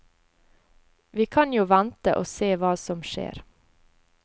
Vi kan jo vente og se hva som skjer.